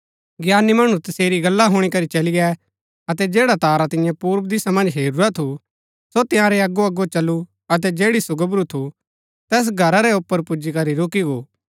ज्ञानी मणु तसेरी गल्ला हुणी करी चली गै अतै जैडा तारा तिऐं पुर्व दिशा मन्ज हेरूरा थु सो तंयारै अगोअगो चल्‍लु अतै जैड़ी सो गोबरू थु तैस घरा रै ऊपर पुजीकरी रूकी गो